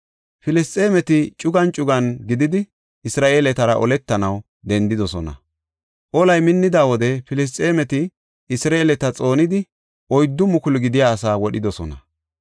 Filisxeemeti cugan cugan gididi, Isra7eeletara oletanaw dendidosona; olay minnida wode Filisxeemeti Isra7eeleta xoonidi oyddu mukulu gidiya asaa wodhidosona.